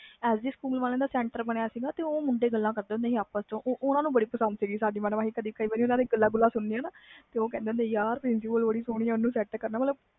S D school ਵਾਲਿਆਂ ਦਾ centre ਬਣਿਆ ਸੀ ਉਹ ਮੁੰਡੇ ਗੱਲਾਂ ਕਰਦੇ ਹੁੰਦੇ ਸੀ ਆਪਸ ਵਿਚ ਓਹਨੂੰ ਬਹੁਤ ਪਸੰਦ ਸੀ ਸਾਡੀ madam ਕਈ ਵਾਰ ਗੱਲਾਂ ਗੋਲਾ ਕਰਨੀਆਂ ਤੇ ਅਸੀਂ ਸੁਣੀਆਂ ਕਹਿੰਦੇ ਸੀ ਉਹ ਬਹੁਤ ਸਹੋਣੀ madam ਸੈੱਟ ਕਰਨਾ ਇਸ ਨੂੰ